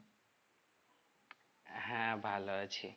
হ্যাঁ ভালো আছি